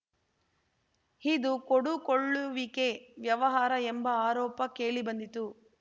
ಇದು ಕೊಡುಕೊಳ್ಳುವಿಕೆ ವ್ಯವಹಾರ ಎಂಬ ಆರೋಪ ಕೇಳಿಬಂದಿತ್ತು